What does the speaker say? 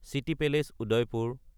city পেলেচ (উদাইপুৰ)